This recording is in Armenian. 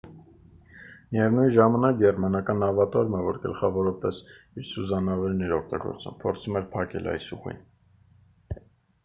միևնույն ժամանակ գերմանական նավատորմը որ գլխավորապես իր սուզանավերն էր օգտագործում փորձում էր փակել այս ուղին